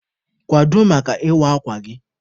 Kwado maka ịwa akwa gị!